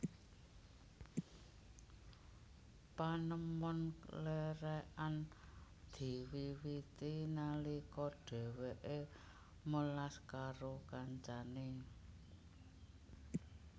Panemon lerekan diwiwiti nalika dheweke melas karo kancane